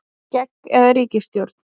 Skegg eða ríkisstjórn